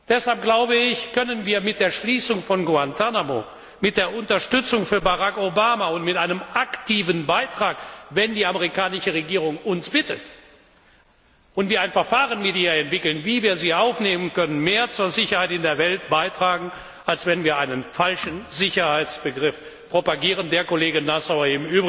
Deshalb glaube ich, können wir mit der Schließung von Guantánamo, mit der Unterstützung für Barack Obama und mit einem aktiven Beitrag, wenn die amerikanische Regierung uns darum bittet, und wir ein Verfahren mit ihr entwickeln, wie wir sie aufnehmen können, mehr zur Sicherheit in der Welt beitragen, als wenn wir einen falschen Sicherheitsbegriff propagieren, der, Kollege Nassauer,